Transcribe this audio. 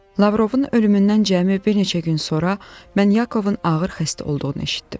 Lavrovun ölümündən cəmi bir neçə gün sonra mən Yakovun ağır xəstə olduğunu eşitdim.